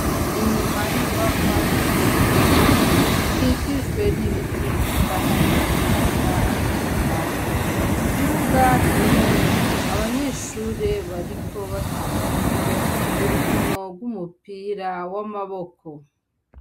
Inyuma y'inyubakwa zishure zikikijwe n'ibiti bitatahaye bitanga akayaga hari ikibuga kinini abanyeshure bariko bakinirako urukinorw'umupira w'amaboko.